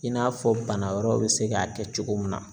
I n'a fɔ bana wɛrɛw bɛ se k'a kɛ cogo min na.